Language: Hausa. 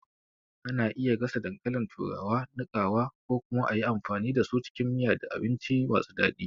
Ana iya gasa dankalin turawa, niƙawa, ko kuma a yi amfani da su cikin miya da abinci masu daɗi.